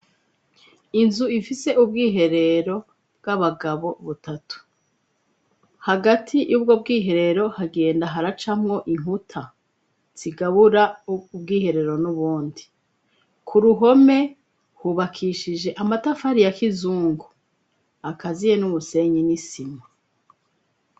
Inzu ifise ubwiherero bw'abagabo butatu. Hagati y'ubwo bwiherero hagenda haracamwo inkuta zigabura ubwiherero n'ubundi. Ku ruhome hubakishije amatafari ya kizungu akaziye n'umusenyi n'isima.